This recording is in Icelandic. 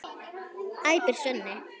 æpir Svenni.